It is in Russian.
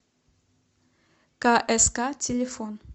кск телефон